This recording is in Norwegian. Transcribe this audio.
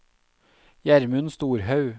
Gjermund Storhaug